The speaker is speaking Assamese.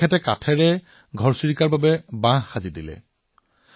তেওঁ ঘৰত কাঠৰ এনে বাহ নিৰ্মাণ কৰিচে যত ঘৰচিৰিকাই সহজে বাস কৰিব পাৰে